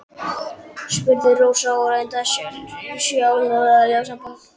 spurði Rósa og reyndi að sjá ljósan punkt.